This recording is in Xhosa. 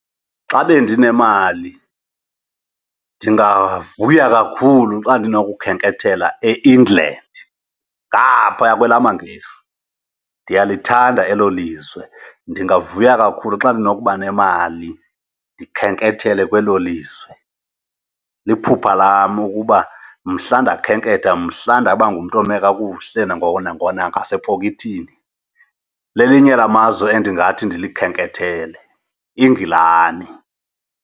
Xa bendinemali ndingavuya kakhulu xa ndinokukhenkethela e-England, ngaphaya kwelaa mangesi. Ndiyalithanda elo lizwe, ndingavuya kakhulu xa ndinokuba nemali ndikhenkethele kwelo lizwe. Liphupha lam ukuba mhla ndakhenketha, mhla ndaba ngumntu ome kakuhle nangoko nangasepokethini, lelinye lamazwe endingathi ndikhenkethele, iNgilani.